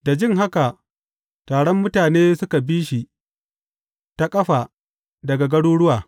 Da jin haka, taron mutane suka bi shi da ƙafa daga garuruwa.